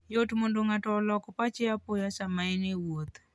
Yot mondo ng'ato olok pache apoya sama en e wuoth.